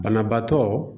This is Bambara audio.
Banabaatɔ